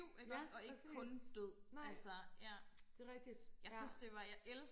ja præcis nej det rigtigt ja